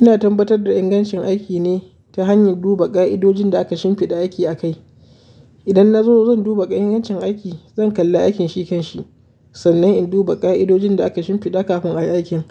Ina tabbatar da ingancin aiki ne ta hanyar duba ƙa'idojin da aka shimfiɗa aiki a kai. Idan na zo zan duba ƙa'idodin ingancin aiki, zan kalla aikin shi kan shi, sannan in duba ƙa'idojin da aka shimfiɗa kafin ai aikin.